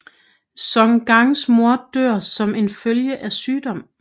Song Gangs mor dør som en følge af sygdom